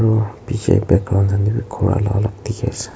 aro picche background khan teh bi ghor Alag alag dikhi ase.